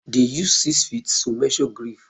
They use six feet to measure graves.